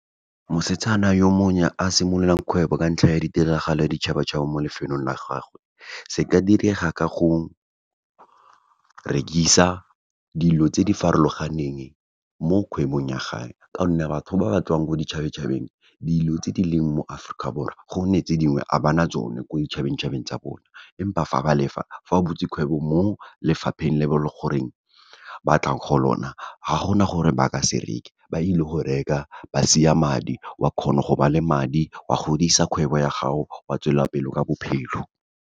Mosetsana yo monnya, a simololang kgwebo, ka ntlha ya ditiragalo ya ditšhabatšhaba mo lefelong la gagwe, se ka direga ka go rekisa dilo tse di farologaneng, mo kgwebong ya gage, ka gonne batho ba ba tswang ko ditšhabeng tšhabeng, dilo tse di leng mo Aforika Borwa, gonne tse dingwe ga bana tsone ko ditšhabeng tšhabeng tsa bona, empa fa ba le fa, fa o butse kgwebo mo lefapheng le be goreng, ba tlang go lona, ga gona gore ba ka se reke, ba ile go reka, ba sia madi, wa kgona go ba le madi, wa godisa kgwebo ya gago, wa tswelela pele ka bophelo.